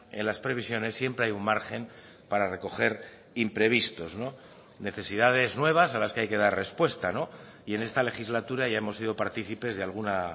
en las previsiones siempre hay un margen para recoger imprevistos necesidades nuevas a las que hay que dar respuesta y en esta legislatura ya hemos sido participes de alguna